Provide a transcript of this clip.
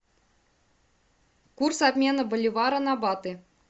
курс обмена боливара на баты